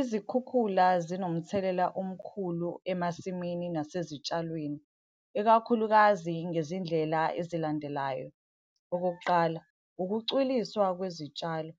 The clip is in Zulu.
Izikhukhula zinomthelela omkhulu emasimini nasezitshalweni, ikakhulukazi ngezindlela ezilandelayo. Okokuqala, ukucwiliswa kwezitshalo.